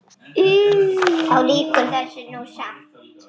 Þá lýkur þessu nú samt.